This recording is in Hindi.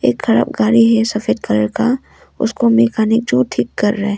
एक खराब गाड़ी है सफेद कलर का उसको मैकेनिक जो ठीक कर रहे--